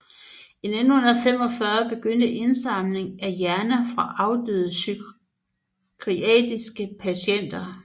I 1945 begyndte indsamlingen af hjerner fra afdøde psykiatriske patienter